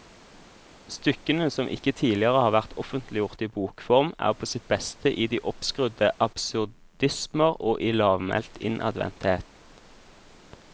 Stykkene, som ikke tidligere har vært offentliggjort i bokform, er på sitt beste i de oppskrudde absurdismer og i lavmælt innadvendthet.